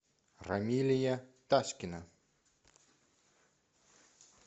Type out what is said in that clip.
рамилия таськина